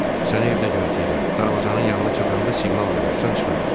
Səni evdə gözləyirəm, darvazanın yanına çatanda siqnal verərsən çıxarıq.